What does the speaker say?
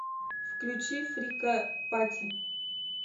включи фрика пати